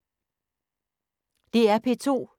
DR P2